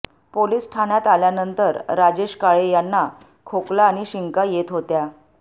police ठाण्यात आल्यानंतर राजेश काळे यांना खोकला आणि शिंका येत होत्या